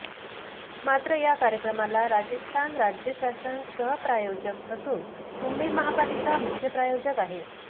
मात्र या कार्यक्रमाला राजस्थान राज्य शासन सहप्रायोजक असून मुंबई महापालिका मुख्य प्रायोजक आहे